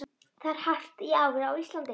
Það er hart í ári á Íslandi.